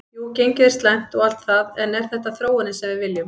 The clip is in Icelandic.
Jú gengið er slæmt og allt það en er þetta þróunin sem við viljum?